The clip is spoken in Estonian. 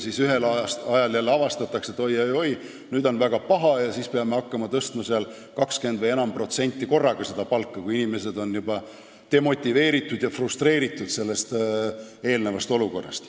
Muidu mingil ajal jälle avastatakse, et oi-oi-oi, nüüd on väga pahasti, ja siis me peame hakkama palka tõstma 20% või enam korraga, kui inimesed on selle olukorra tõttu juba demotiveeritud ja frustreeritud.